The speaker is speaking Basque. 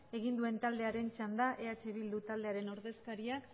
egin duen taldearen txanda eh bildu taldearen ordezkariak